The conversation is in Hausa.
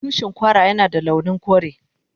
Tushin Kwara Yana da launin kore.